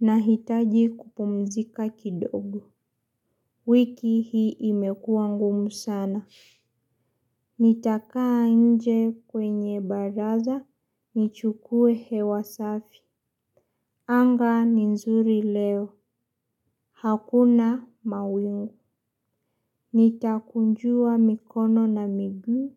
Nahitaji kupumzika kidogo. Wiki hii imekuwa ngumu sana. Nitakaa nje kwenye baraza. Nichukue hewa safi. Anga ni nzuri leo. Hakuna mawingu. Nitakunjua mikono na miguu.